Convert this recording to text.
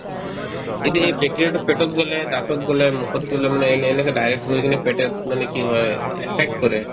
কিন্তু এই bacteria তো পেটত গ'লে দাঁতত গ'লে মুখত ধৰিলে মানে এনে ~ এনেকে direct গৈ কিনে পেটত মানে কি হয় affect কৰে